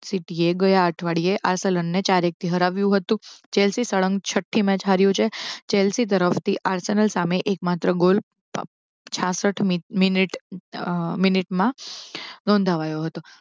સિટીએ ગયા અઠવાડિયે આરસેલનને ચાર એક થી હરાવ્યું હતું જેર્સીલન સળંગ છઠ્ઠી મેચ હાર્યું છે જેલસી તરફથી આર્સેલન તરફ સામે એક માત્ર ગોલ છાસઠ મિનિટ મિનિટમાં નોંધાવ્યો હતો